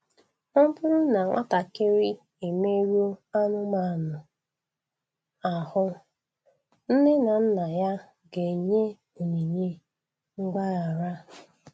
Ọ bụrụ na nwatakịrị emerụọ anụmanụ ahụ, nne na nna ya ga-enye onyinye mgbaghara.